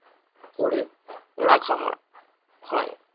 করে রাখা হয়